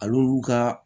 Al'olu ka